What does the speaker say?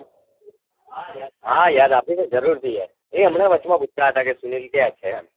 હા યાદ આપીસ જુરુર થી યાર એ હમને વચમાં પૂછતા હતા કે સુનીલ ક્યાંછે એમ